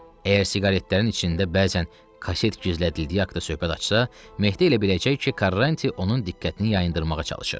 Əgər siqaretlərin içində bəzən kaset gizlədildiyi haqda söhbət açsa, Mehdi elə biləcək ki, Karanti onun diqqətini yayındırmağa çalışır.